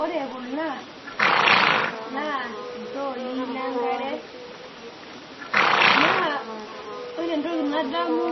ore kuna naa iltooi le nkare naa ore entoki nadamu